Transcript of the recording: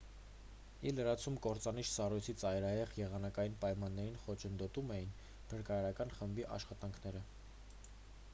ի լրումն կործանիչ սառույցի ծայրահեղ եղանակային պայմանները խոչընդոտում էին փրկարարական խմբի աշխատանքները